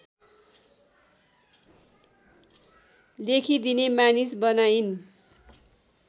लेखिदिने मानिस बनाइन्